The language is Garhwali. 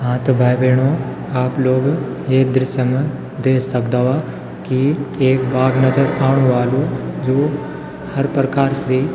हाँ त भाई-बहणों आप लोग ये दृश्य मा देख सकदा वा की एक बाघ नजर आणु वालू जू हर प्रकार से --